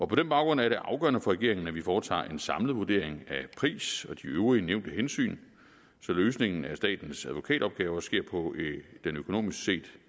på den baggrund er det afgørende for regeringen at vi foretager en samlet vurdering af pris og de øvrige nævnte hensyn så løsningen af statens advokatopgaver sker på den økonomisk set